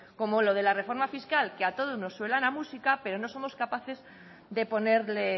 como lo de la reforma fiscal que a todos nos suena la música pero no somos capaces de ponerle